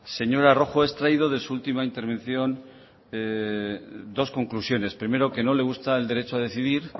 señora rojo he extraído de su última intervención dos conclusiones primero que no le gusta el derecho a decidir